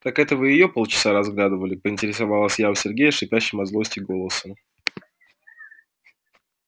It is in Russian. так это вы её полчаса разглядывали поинтересовалась я у сергея шипящим от злости голосом